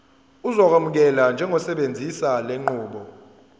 uzokwamukelwa njengosebenzisa lenqubo